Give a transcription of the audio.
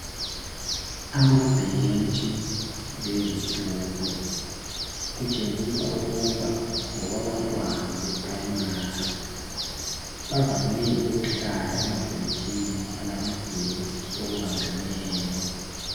Amabhentshi lezitulo, kutshengisa ukuba ngokwabantwana beprayimari. Bavame ukuhlala emabhentshini alamadeski okubambeneyo.